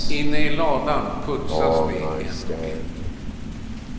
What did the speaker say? Inne i ladan putsas de en och en.